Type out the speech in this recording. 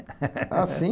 Ah, sim.